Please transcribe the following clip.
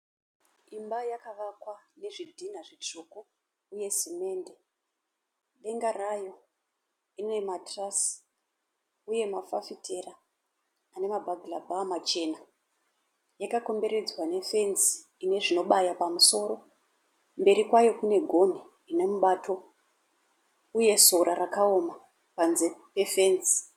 Imba yakavakwa nezvidhinha zvitsvuku uye semende. Denga rayo rine ma(truss) uye mafafitera ane ma(bugler bar) machena. Yakakomberedzwa nefenzi ine zvinobaya pamusoro. Mberi kwayo kune gonhi rine mubato uye sora rakaoma panze pefenzi.